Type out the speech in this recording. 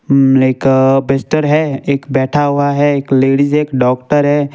Like a बिस्तर है एक बैठा हुआ है एक लेडिस एक डॉक्टर है।